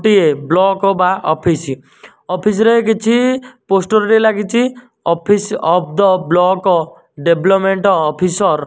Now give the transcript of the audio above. ଗୋଟିଏ ବ୍ଲକ ବା office office ରେ କିଛି ପୋଷ୍ଟର ଟିଏ ଲାଗିଛି office of the block development officer.